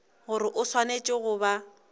gore o swanetše go ba